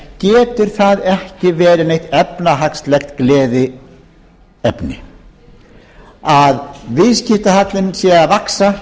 getur það ekki verið neitt efnahagslegt gleðiefni að viðskiptahallinn sé að vaxa